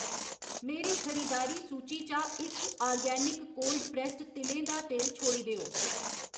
मेरी खरीदारी सूची चा इक आर्गेनिक कोल्ड प्रैस्सड तिलें दा तेल छोड़ी देओ।